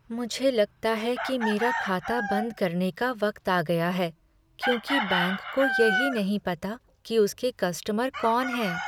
मुझे लगता है कि मेरा खाता बंद करने का वक्त आ गया है, क्योंकि बैंक को यही नहीं पता कि उसके कस्टमर कौन हैं।